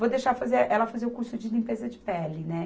Vou deixar fazer, ela fazer o curso de limpeza de pele, né?